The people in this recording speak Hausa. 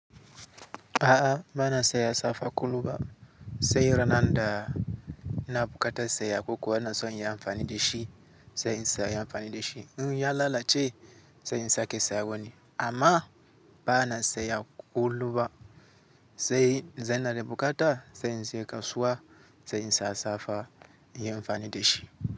A'a, ba na saya safa kullu ba. Sai ranar da na bukata saya koko, bana so in yi amfani da shi sai in saya amfani da shi. In ya lalace sai in sake sayuwani. Amma ba na saya kullu ba. Sai zanada bukata sai in je kasuwa sai in saya safa in yi amfani da shi.